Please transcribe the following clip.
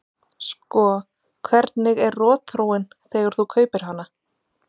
Sko hvernig er rotþróin þegar þú kaupir hana?